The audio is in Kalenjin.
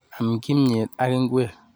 Am kimnyet ak ngwek.